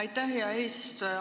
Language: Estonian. Aitäh, hea eesistuja!